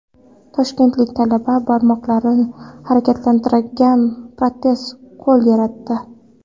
Toshkentlik talaba barmoqlari harakatlanadigan protez qo‘l yaratdi.